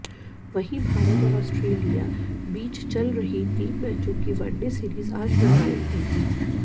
वहीं भारत और ऑस्ट्रेलिया बीच चल रही तीन मैचों की वनडे सीरीज आज निर्णायक होगी